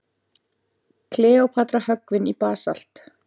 Kleópatra höggvin í basalt.